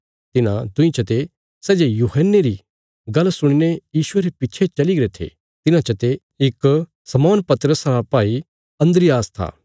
तिन्हां दुईं चते सै जे यूहन्ने री गल्ल सुणीने यीशुये रे पिच्छे चलीगरे थे तिन्हां चते इक शमौन पतरस रा भाई अन्द्रियास था